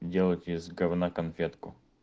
делать из говна конфетку